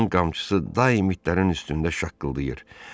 Onun qamçısı daim itlərin üstündə şaqqıldayırdı.